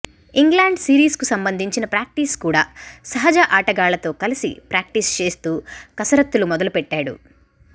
England series కు సంబంధించిన practice కూడా సహజ ఆటగాళ్లతో కలిసి ప్రాక్టీస్ చేస్తూ కసరత్తులు మొదలు పెట్టాడు